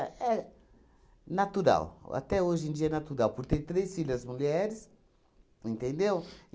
é natural, até hoje em dia é natural, por ter três filhas mulheres, entendeu?